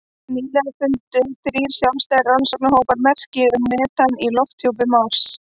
Nýlega fundu þrír sjálfstæðir rannsóknarhópar merki um metan í lofthjúpi Mars.